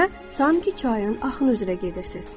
sanki çayın axını üzrə gedirsiz.